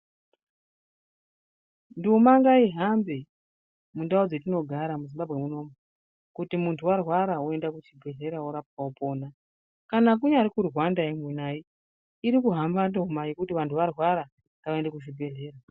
Nduma ngaihambe mundau dzatinogara muZimbabwe munomu kuti muntu warwara woende kuchibhedhleya worapwa wopona kana kunyari kuRwandayo mai irikuhamba nduma yekuti vantu varwara ngavaende kuzvibhedhlera.